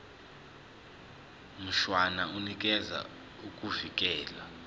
mshwana unikeza ukuvikelwa